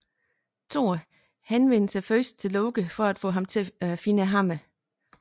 Thor henvender sig først til Loke for at få ham til at finde hammeren